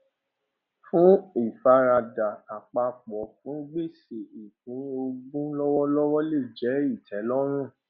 fún ìfaradà àpapọ fún gbèsè ìpín ogún lọwọlọwọ lè jẹ ìtẹlọrùn